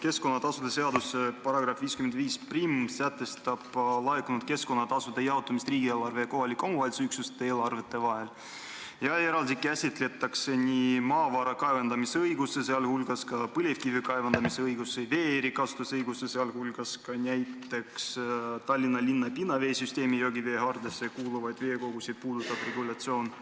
Keskkonnatasude seaduse § 551 sätestab laekunud keskkonnatasude jaotamise riigieelarve ja kohaliku omavalitsuse üksuste eelarvete vahel ja eraldi käsitletakse maavara kaevandamisõigust, sh põlevkivi kaevandamisõigust, vee-erikasutusõigust, sh Tallinna linna pinnaveesüsteemi joogiveehaardesse kuuluvaid veekogusid puudutavat regulatsiooni,